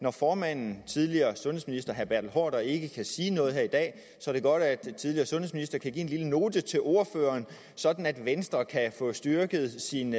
at formanden tidligere sundhedsminister herre bertel haarder som ikke kan sige noget her i dag så kan give en lille note til ordføreren sådan at venstre kan få styrket sin